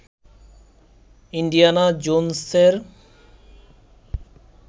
Indiana জোনসের